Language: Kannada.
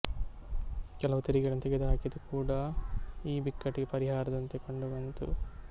ಕೆಲವು ತೆರಿಗೆಗಳನ್ನು ತೆಗೆದು ಹಾಕಿದ್ದು ಕೂಡಾ ಈ ಬಿಕ್ಕಟಿಗೆ ಪರಿಹಾರದಂತೆ ಕಂಡು ಬಂತು